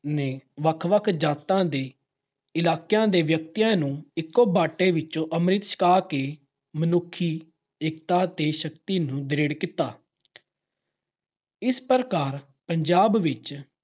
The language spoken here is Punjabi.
ਨੇ ਵੱਖ-ਵੱਖ ਜਾਤਾਂ ਦੇ ਇਲਾਕਿਆਂ ਦੇ ਵਿਅਕਤੀਆਂ ਨੂੰ ਇਕੋ ਬਾਟੇ ਚੋਂ ਅੰਮ੍ਰਿਤ ਛਕਾ ਕੇ ਮਨੁੱਖੀ ਏਕਤਾ ਤੇ ਸ਼ਕਤੀ ਨੂੰ ਦ੍ਰਿੜ ਕੀਤਾ। ਇਸ ਪ੍ਰਕਾਰ ਪੰਜਾਬ ਵਿੱਚ